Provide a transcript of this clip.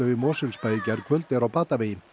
í Mosfellsbæ í gærkvöld er á batavegi